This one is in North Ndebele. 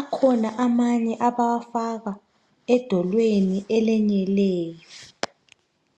Akhona amanye abawafaka edolweni elenyeleyo.